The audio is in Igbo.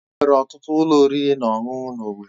Enwere ọtụtụ ụlọ oriri na ọṅụṅụ na owerri.